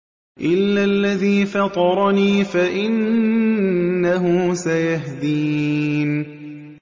إِلَّا الَّذِي فَطَرَنِي فَإِنَّهُ سَيَهْدِينِ